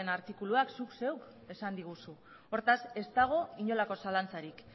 artikuluak zuk zeuk esan diguzu hortaz ez dago inolako zalantzarik